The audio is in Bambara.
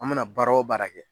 An mina baara o baara kɛ